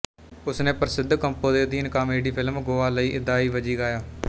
ਉਸਨੇ ਪ੍ਰਸਿੱਧ ਕੰਪੋ ਦੇ ਅਧੀਨ ਕਾਮੇਡੀ ਫਿਲਮ ਗੋਆ ਲਈ ਇਦਾਈ ਵਜ਼ੀ ਗਾਇਆ